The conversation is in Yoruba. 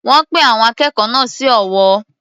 Wọ́n pín àwọn akẹ́kọ̀ọ́ náà sí ọ̀wọ́.